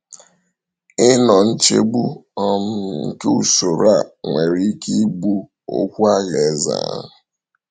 Ịnọ nchegbu um nke usoro a nwere ike igbu okwu Alaeze ahụ.